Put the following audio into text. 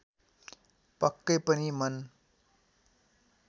पक्कै पनि मन